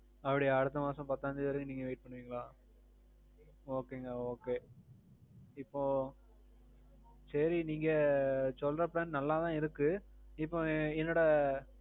அப்படியா அடுத்த மாசம் பத்தாம் தேதி வர நீங்க wait பண்ணுவீங்களா? okay ங்க okay. இப்போ. சேரி நீங்க சொல்ற plan நல்லா தான் இருக்கு. இப்போ என்னோட